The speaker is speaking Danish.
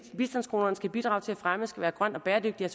bistandskronerne skal bidrage til at fremme skal være grøn og bæredygtig er